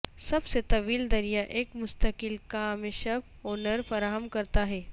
سب سے طویل دریا ایک مستقل کام شپ اونرز فراہم کرتا ہے